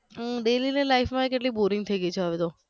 હમ daily ની life માં ય કેટલી boring થઈ ગઈ છે હવે તો